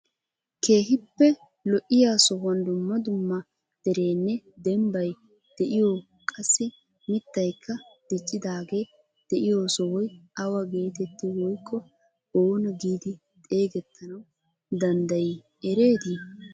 Keehippe lo'iyaa sohuwaan dumma dumma dereenne dembbay de'iyoo qassi miitaykka diccidaagee de'iyoo sohoy awa getetti woykko oona giidi xeegettanawu danddayii ereetii?